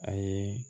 A ye